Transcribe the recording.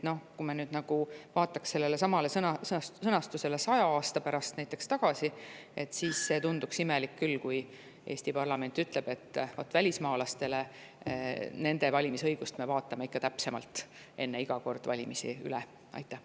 Kui me vaataks sedasama sõnastust 100 aasta pärast, siis tunduks imelik küll, kui Eesti parlament oleks öelnud, et vot välismaalaste valimisõiguse me vaatame iga kord enne valimisi täpsemalt üle.